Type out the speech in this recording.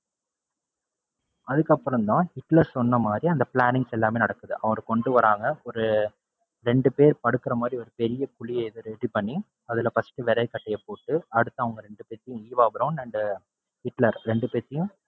அதுக்கப்பறம் தான் ஹிட்லர் சொன்னமாதிரி அந்த plannings எல்லாமே நடக்குது. அவர கொண்டுவராங்க. ஒரு ரெண்டு பேர் படுக்குற மாதிரி ஒரு பெரிய குழிய இது ready பண்ணி, அதுல first விறகு கட்டைய போட்டு அதுக்கு அப்பறம் அவங்க ரெண்டு பேரையும் ஈவா பிரௌன் and ஹிட்லர் ரெண்டு பேரையும்,